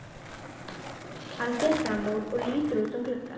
Hann fer fram úr og lítur út um gluggann.